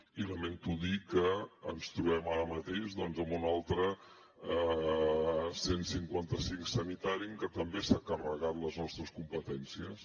i lamento dir que ens trobem ara mateix doncs amb un altre cent i cinquanta cinc sanitari amb què també s’han carregat les nostres competències